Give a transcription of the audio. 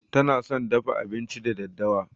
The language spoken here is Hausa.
Tana son dafa abinci da daddawa.